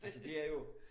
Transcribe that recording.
Altså det er jo